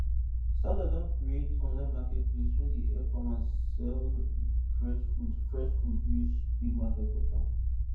startup don create online marketplace wey dey help farmers sell fresh foods fresh foods reach big market for town